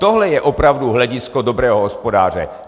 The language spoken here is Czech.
Tohle je opravdu hledisko dobrého hospodáře.